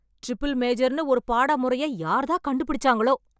triple மேஜர்னு ஒரு பாடமுறையை யார்தான் கண்டுபிடிச்சாங்களோ...